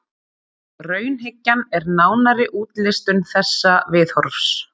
Raunhyggjan er nánari útlistun þessa viðhorfs.